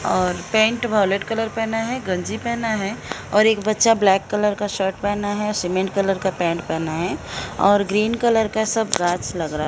और pant violet colour पहना है गंजी पहना है और एक बच्चा ब्लैक कलर का शर्ट पहना है सीमेंट कलर का पैंट पहना है और ग्रीन कलर का सब गाछ लग रहा है।